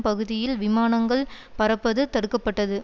பகுதியில் விமானங்கள் பறப்பது தடுக்க பட்டது